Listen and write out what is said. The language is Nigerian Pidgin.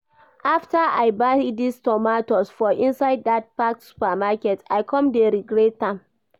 After I buy this tomatoes for inside that Faxx Supermarket, I come dey regret am